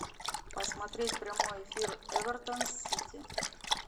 посмотреть прямой эфир эвертон с сити